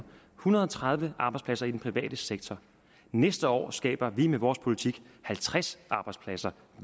hundrede og tredive arbejdspladser i den private sektor næste år skaber vi med vores politik halvtreds arbejdspladser